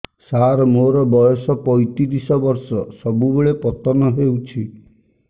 ସାର ମୋର ବୟସ ପୈତିରିଶ ବର୍ଷ ସବୁବେଳେ ପତନ ହେଉଛି